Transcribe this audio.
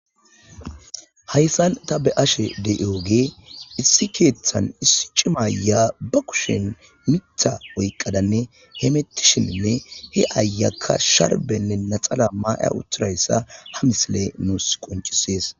Hayssan ta be ashe de7ioge issi keeththan issi cimaya ba kushen mitha oyqqadanne hemettishininne he ayakka sharbenne naxala maaya uthirayssa ha misile nuus qoncisees